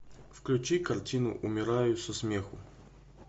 включи картину умираю со смеху